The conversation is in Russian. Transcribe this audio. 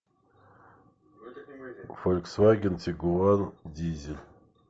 фольксваген тигуан дизель